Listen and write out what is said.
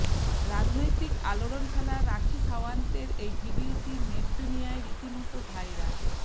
রাজনৈতিক আলোড়ন ফেলা রাখি সাওয়ান্তের এই ভিডিওটি নেটদুনিয়ায় রীতিমতো ভাইরাল